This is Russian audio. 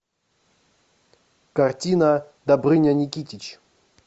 картина добрыня никитич